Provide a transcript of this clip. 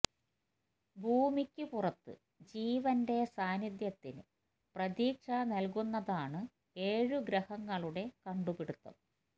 ഭൂമിക്ക് പുറത്ത് ജീവന്റെ സാന്നിധ്യത്തിന് പ്രതീക്ഷ നല്കുന്നതാണ് ഏഴ് ഗ്രഹങ്ങളുടെ കണ്ടുപിടുത്തം